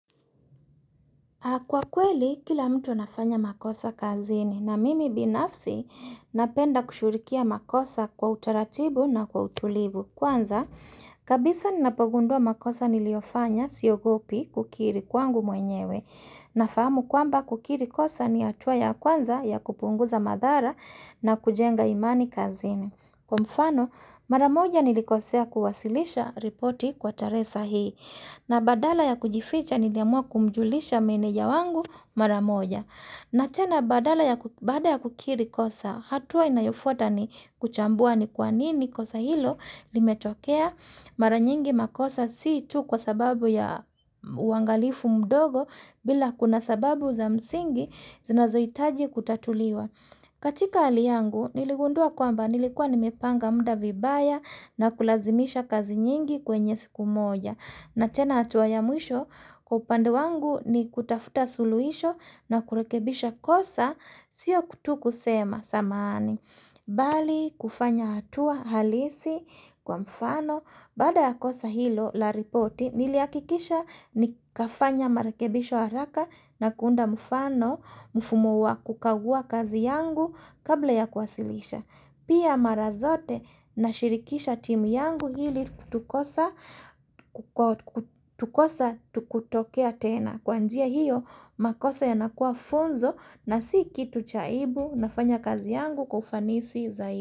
Kwa kweli, kila mtu anafanya makosa kazini na mimi binafsi napenda kushugulikia makosa kwa utaratibu na kwa utulibu. Kwanza, kabisa ninapogundua makosa niliofanya siogopi kukiri kwangu mwenyewe. Nafahamu kwamba kukiri kosa ni hatuwa ya kwanza ya kupunguza madhara na kujenga imani kazini. Kwa mfano, maramoja nilikosea kuwasilisha ripoti kwa taresa hii, na badala ya kujificha niliamua kumjulisha meneja wangu maramoja. Na tena badala ya baada ya kukiri kosa, hatua inayofuta ni kuchambua ni kwanini kosa hilo limetokea maranyingi makosa sii tu kwa sababu ya uangalifu mdogo bila kuna sababu za msingi zinazohitaji kutatuliwa. Katika hali yangu, niligundua kwamba nilikuwa nimepanga mda vibaya na kulazimisha kazi nyingi kwenye siku moja. Na tena hatua ya mwisho, kwa upande wangu ni kutafuta suluhisho na kurekebisha kosa, sio tu kusema samahani. Bali kufanya hatua halisi kwa mfano, baada ya kosa hilo la ripoti, nili hakikisha nikafanya marekebisho haraka na kuunda mfano, Mfumo wa kukagua kazi yangu kabla ya kuwasilisha Pia mara zote na shirikisha timu yangu ili kosa kutotokea tena Kwa njia hiyo makosa yanakua funzo na si kitu cha aibu nafanya kazi yangu kwa ufanisi zaidi.